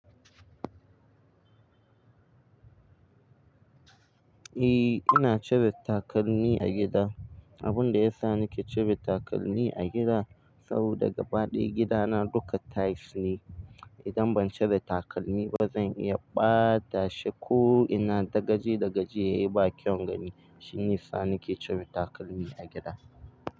E, ina cire takalmi a gida. Abun da ya sa nake cire takalmi a gida saboda gaba ɗaya gidana duka tiles ne. Idan ban cire takalmi ba zan iya ɓata shi ko ina, daga ji da gajiyaye ba kyaun gani. Shine sa nake cire takalmi a gida.